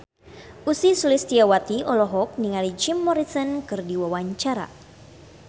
Ussy Sulistyawati olohok ningali Jim Morrison keur diwawancara